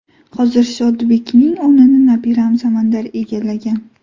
Hozir Shodibekning o‘rnini nabiram Samandar egallagan.